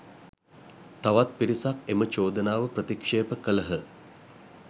තවත් පිරිසක් එම චෝදනාව ප්‍රතික්ෂේප කළහ